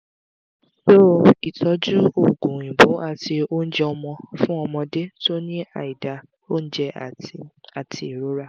so itọju oogun oyinbo ati ounje ọmọ fun ọmọdé tó ní aida ounje ati ati irorá